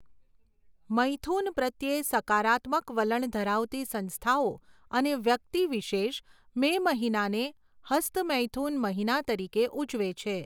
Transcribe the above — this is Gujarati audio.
મૈથુન પ્રત્યે સકારાત્મક વલણ ધરાવતી સંસ્થાઓ અને વ્યક્તિ વિશેષ મે મહિનાને હસ્તમૈથુન મહિના તરીકે ઉજવે છે.